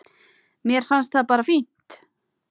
Mér finnst það bara fínt.